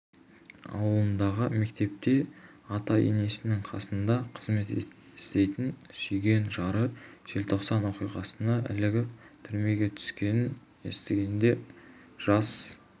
ауылындағы мектепте ата-енесінің қасында қызмет істейтін сүйген жары желтоқсан оқиғасына ілігіп түрмеге түскенін естігенде жас